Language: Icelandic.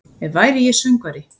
Ef væri ég söngvari